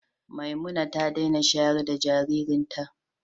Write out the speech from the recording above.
Memunat ta daina shayar da jaririnta.